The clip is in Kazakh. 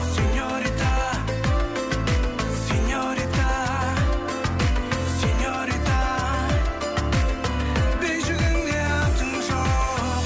сеньорита сеньорита сеньорита бейджігіңде атың жоқ